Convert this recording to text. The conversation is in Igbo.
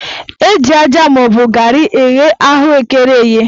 Eji aja maọbụ garị eghe ahụekere eghe